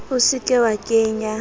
o se ke wa kenya